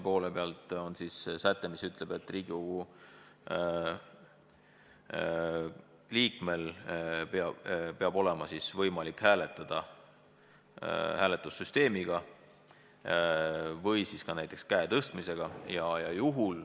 Selleks on eelnõus säte, et Riigikogu liikmel peab olema võimalik hääletada hääletussüsteemiga või ka näiteks käe tõstmisega.